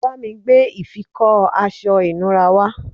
bámi gbé ìfikọ́ aṣọ ìnura wá